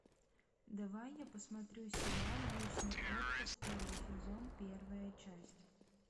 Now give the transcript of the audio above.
давай я посмотрю сериал вечный отпуск первый сезон первая часть